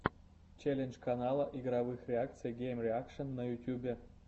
челлендж канала игровых реакций геймреакшн на ютьюбе